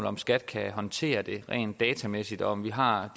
om skat kan håndtere det rent datamæssigt og om vi har